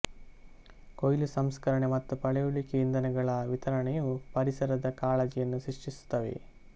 ಕೊಯ್ಲು ಸಂಸ್ಕರಣೆ ಮತ್ತು ಪಳೆಯುಳಿಕೆ ಇಂಧನಗಳ ವಿತರಣೆಯು ಪರಿಸರದ ಕಾಳಜಿಯನ್ನು ಸೃಷ್ಟಿಸುತ್ತವೆ